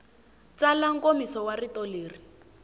tsala nkomiso wa rito leri